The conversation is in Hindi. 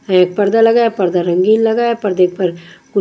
एक पर्दा लगाया है पर्दा रंगीन लगाया है पर्दे के पर--